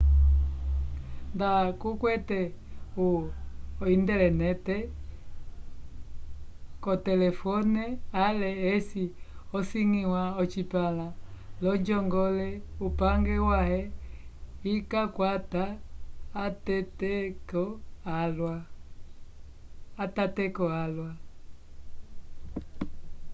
nda kukwete o-intelenete k'otelefone ale eci asiñgiwa ocipãla l'onjongole upange wãhe ikakwata atateko alwa